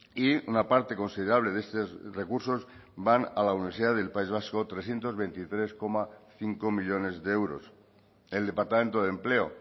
y una parte considerable de estos recursos van a la universidad del país vasco trescientos veintitrés coma cinco millónes de euros el departamento de empleo